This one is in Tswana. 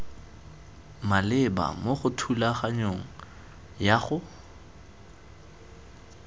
maleba mo thulaganyong ya go